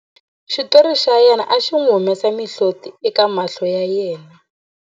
xitori xa yena xi n'wi humesa mihloti eka mahlo ya yena